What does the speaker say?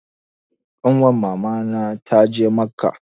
Ƙanwar mama na ta je macca